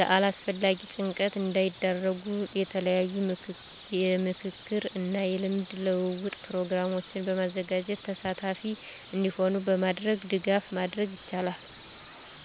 ለአላስፈላጊ ጭንቀት እንዳይዳረጉ የተለያዩ የምክክር እና የልምድ ልውውጥ ፕሮግራሞችን በማዘጋጀት ተሳታፊ እንዲሆኑ በማድረግ ድጋፍ ማድረግ ይቻላል።